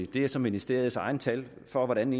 det er så ministeriets egne tal hvordan